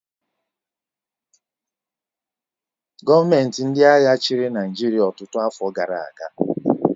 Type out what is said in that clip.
Gọọmenti ndị agha chịrị Naịjirịa ọtụtụ afọ gara aga